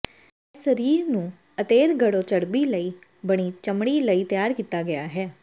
ਇਹ ਸਰੀਰ ਨੂੰ ਅਤੇਰਗੜੋ ਚਰਬੀ ਲਈ ਬਣੀ ਚਮੜੀ ਲਈ ਤਿਆਰ ਕੀਤਾ ਗਿਆ ਹੈ